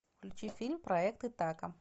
включи фильм проект итака